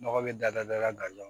Nɔgɔ bɛ da da da da